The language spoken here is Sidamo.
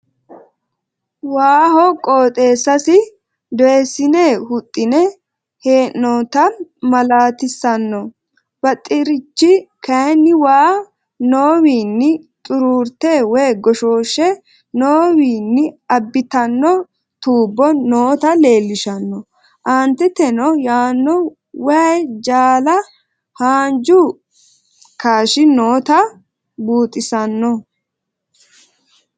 Waaho qooxessasi dooyissinne huxxine heyinnotta maalatissanno. baxxerichi kayinni waa noowini xuururrite(goshshoshe)noowini abittanno tuubo noota leelishanno. annitettenno yaano wayyi jaala haanjju kashshi notta buxxisanno.